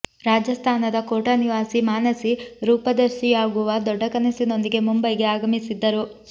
ರಾಜಸ್ತಾನದ ಕೋಟಾ ನಿವಾಸಿ ಮಾನಸಿ ರೂಪದರ್ಶಿಯಾಗುವ ದೊಡ್ಡ ಕನಸಿನೊಂದಿಗೆ ಮುಂಬೈಗೆ ಆಗಮಿಸಿದ್ದರು